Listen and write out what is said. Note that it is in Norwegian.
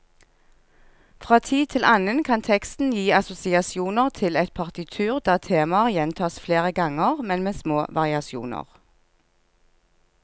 Fra tid til annen kan teksten gi assosiasjoner til et partitur der temaer gjentas flere ganger, men med små variasjoner.